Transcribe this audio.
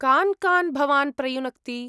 कान् कान् भवान् प्रयुनक्ति?